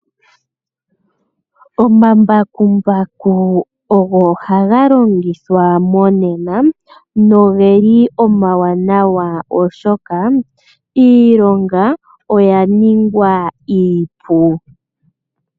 Omambakumbaku ogo haga longithwa monena nogeli omawanawa oshoka iilonga oya ningwa iipu.